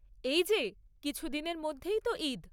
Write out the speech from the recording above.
এই যে, কিছুদিনের মধ্যেই তো ঈদ।